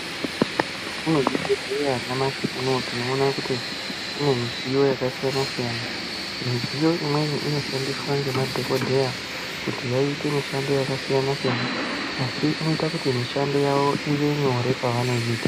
Mukati mwezvibhedhleya nyamashi unou tinoona kuti mune midziyo yakasiyana siyana . Midziyo imweni inoshandiswa ngemadhokodheya kuti vaite mishando yakasiyana siyana asi inoita kuti mishando yavo ive nyore pavanoiita.